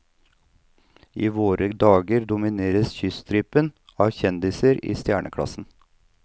I våre dager domineres kyststripen av kjendiser i stjerneklassen.